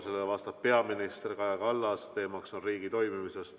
Sellele vastab peaminister Kaja Kallas, teemaks on riigi toimimine.